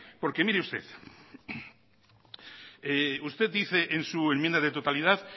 porque mire usted usted dice en su enmienda de totalidad